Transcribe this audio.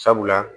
Sabula